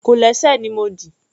Kòlẹ́sẹ̀ ni mo dì.